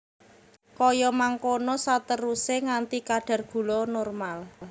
Kaya mangkono saterusé nganti kadar gula normal